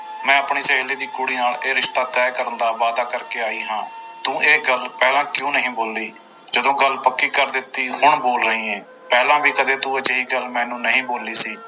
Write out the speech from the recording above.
ਮੈਂ ਆਪਣੀ ਸਹੇਲੀ ਦੀ ਕੁੜੀ ਨਾਲ ਇਹ ਰਿਸ਼ਤਾ ਤੈਅ ਕਰਨ ਦਾ ਵਾਅਦਾ ਕਰਕੇ ਆਈ ਹਾਂ ਤੂੰ ਇਹ ਗੱਲ ਪਹਿਲਾਂ ਕਿਉਂ ਨਹੀਂ ਬੋਲੀ, ਜਦੋਂ ਗੱਲ ਪੱਕੀ ਕਰ ਦਿੱਤੀ ਹੁਣ ਬੋਲ ਰਹੀ ਹੈ, ਪਹਿਲਾਂ ਵੀ ਕਦੇ ਤੂੰ ਅਜਿਹੀ ਗੱਲ ਮੈਨੂੰ ਨਹੀਂ ਬੋਲੀ ਸੀ।